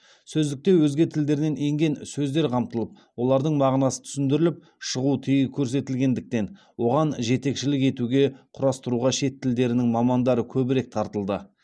сөздікте өзге тілдерден енген сөздер қамтылып олардың мағынасы түсіндіріліп шығу тегі көрсетілетіндіктен оған жетекшілік етуге құрастыруға шет тілдерінің мамандары көбірек тартылды